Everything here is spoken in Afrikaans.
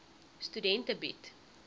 studente bied